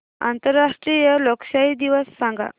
आंतरराष्ट्रीय लोकशाही दिवस सांगा